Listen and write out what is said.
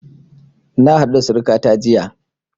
Na haɗu da surukata jiya